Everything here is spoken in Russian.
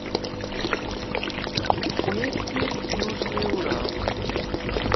вести южный урал